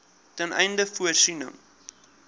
ten einde voorsiening